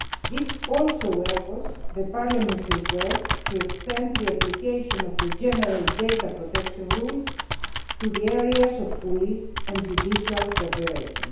This also echoes Parliament's request to extend the application of the general data protection rules to the areas of police and judicial cooperation.